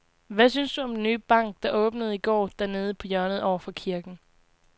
Hvad synes du om den nye bank, der åbnede i går dernede på hjørnet over for kirken?